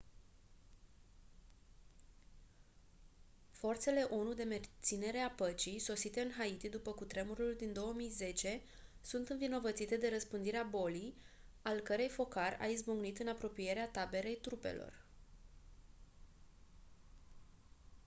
forțele onu de menținere a păcii sosite în haiti după cutremurul din 2010 sunt învinovățite de răspândirea bolii al cărei focar a izbucnit în apropierea taberei trupelor